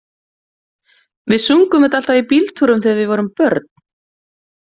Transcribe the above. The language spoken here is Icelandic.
Við sungum þetta alltaf í bíltúrum þegar við vorum börn.